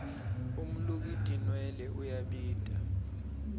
umluki tinwelwe uyabita